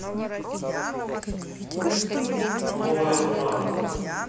новая тура